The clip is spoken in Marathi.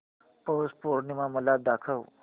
पौष पौर्णिमा मला दाखव